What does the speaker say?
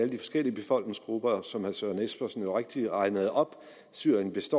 de forskellige befolkningsgrupper som herre søren espersen rigtigt regnede op syriens